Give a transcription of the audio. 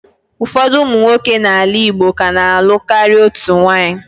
Ụfọdụ ụmụ nwoke n'ala Igbo ka na-alụ karịa otu nwunye.